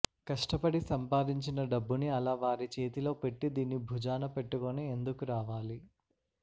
కష్టపడి సంపాదించిన డబ్బుని అలా వారి చేతిలో పెట్టి దీన్ని భుజాన పెట్టుకొని ఎందుకు రావాలి